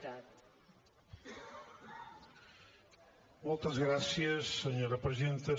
moltes gràcies senyora presidenta